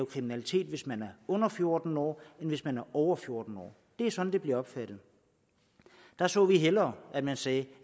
kriminalitet hvis man er under fjorten år end hvis man er over fjorten år det er sådan det bliver opfattet der så vi hellere at man sagde